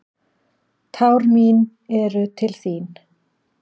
Tár mín eru til þín.